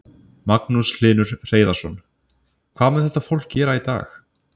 Magnús Hlynur Hreiðarsson: Hvað mun þetta fólk gera í dag?